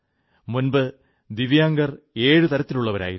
മുമ്പ് ദിവ്യാംഗർ ഏഴു തരത്തിലുള്ളവരായിരുന്നു